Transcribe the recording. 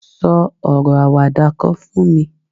so oro awada kan fún mi